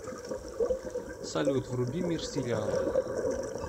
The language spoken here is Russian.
салют вруби мир сериала